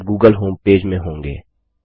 अब आप Google homepage में होंगे